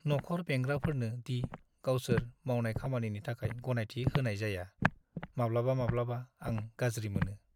न'खर बेंग्राफोरनो दि गावसोर मावनाय खामानिनि थाखाय गनायथि होनाय जाया, माब्लाबा-माब्लाबा आं गाज्रि मोनो।